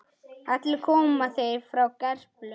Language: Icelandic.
Allir koma þeir frá Gerplu.